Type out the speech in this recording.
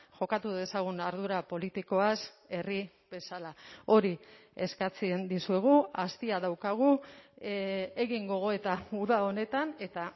jokatu dezagun ardura politikoaz herri bezala hori eskatzen dizuegu astia daukagu egin gogoeta uda honetan eta